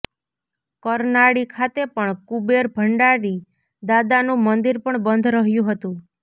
કરનાળી ખાતે પણ કુબેર ભંડારી દાદાનુ મંદીર પણ બંધ રહયુ હતુ